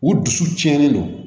U dusu cɛnnen don